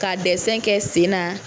Ka dɛsɛn kɛ sen na.